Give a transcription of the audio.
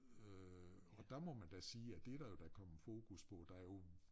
Øh og der må man da sige at det der jo da kommet fokus på der jo